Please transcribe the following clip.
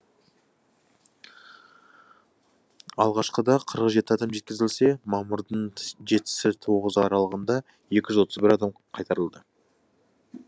алғашқыда қырық жеті адам жеткізілсе мамырдың жетісі тоғызы аралығында екі жүз отыз бір адам қайтарылды